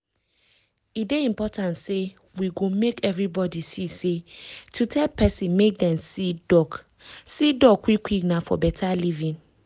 e dey important say we go make everybody see say to tell person make dem see doc see doc quick quick na for beta living.